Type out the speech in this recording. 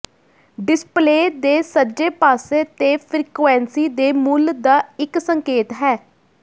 display ਦੇ ਸੱਜੇ ਪਾਸੇ ਤੇ ਫਰੀਕੁਇੰਸੀ ਦੇ ਮੁੱਲ ਦਾ ਇੱਕ ਸੰਕੇਤ ਹੈ